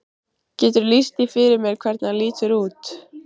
Geturðu lýst því fyrir mér hvernig hann lítur út?